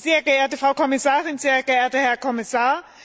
Sehr geehrte Frau Kommissarin, sehr geehrter Herr Kommissar!